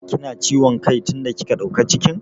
Ki na ciwom kai tin da kika ɗauka cikin?